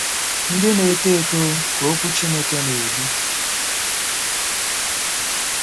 Ndị Na-eto Eto—Ka Okwu Chineke Na-edu